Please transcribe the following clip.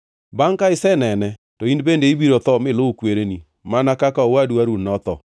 Bangʼ ka isenene, to in bende ibiro tho miluw kwereni, mana kaka owadu Harun notho,